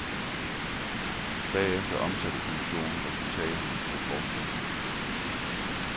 Bagefter omsatte kommissionen resultaterne til forslag.